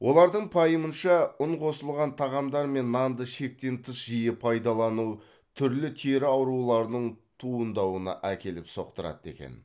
олардың пайымынша ұн қосылған тағамдар мен нанды шектен тыс жиі пайдалану түрлі тері ауруларының туындауына әкеліп соқтырады екен